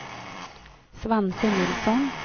Svante Nilsson